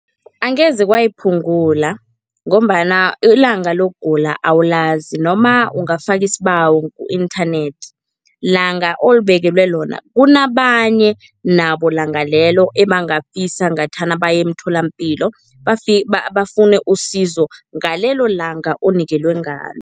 Angeze kwayiphungula ngombana ilanga lokugula awulazi noma ungafaka isibawo ku-inthanethi. Langa olibekelwe lona, kunabanye nabo langa lelo ebangafisa ngathana baye emtholampilo bafune usizo ngalelo langa onikelwe ngalo.